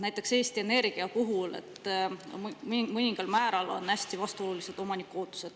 Näiteks Eesti Energia puhul on omaniku ootused hästi vastuolulised.